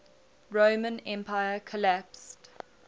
roman empire collapsed